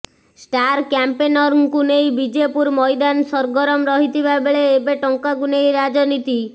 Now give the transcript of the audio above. star କ୍ୟାମ୍ପେନରଙ୍କୁ ନେଇ ବିଜେପୁର ମଇଦାନ ସର୍ଗରମ୍ ରହିଥିବା ବେଳେ ଏବେ ଟଙ୍କାକୁ ନେଇ ରାଜନୀତି